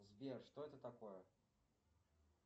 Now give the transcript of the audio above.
сбер что это такое